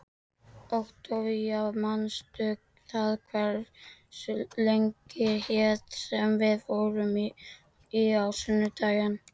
Októvía, manstu hvað verslunin hét sem við fórum í á sunnudaginn?